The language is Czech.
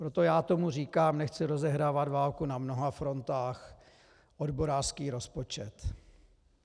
Proto já tomu říkám - nechci rozehrávat válku na mnoha frontách - odborářský rozpočet.